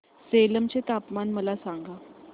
सेलम चे तापमान मला सांगा